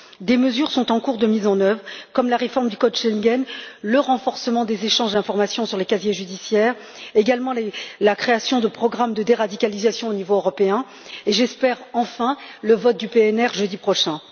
Des mesures sont en cours de mise en œuvre, comme la réforme du code Schengen, le renforcement des échanges d'informations sur les casiers judiciaires, la création de programmes de déradicalisation au niveau européen et, j'espère, enfin, le vote du PNR jeudi prochain.